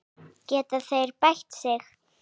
Geta þeir bætt sig?